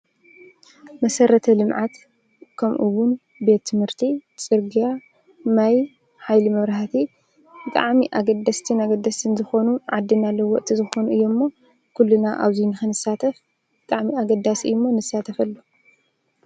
መሰረተ ልምዓት ከምኡ ውን ቤት ትምህርቲ፣ ፅርግያ ፣ማይ ፣ሓይሊ መብራህቲ፣ ብጣዕሚ ኣገደስትን ኣገደስትን ዝኮኑ ዓዲ መለወጢ ዝኾኑ እዮም እሞ ኩልና ኣብዚ ንክንሳተፍ ብጣዕሚ ኣገዳሲ እዩ እሞ ንሳተፈሉ።